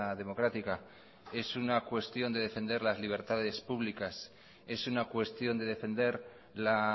democrática es una cuestión de defender las libertades públicas es una cuestión de defender la